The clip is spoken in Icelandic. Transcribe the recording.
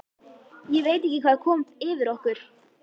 Ég veit ekki hvað kom yfir okkur.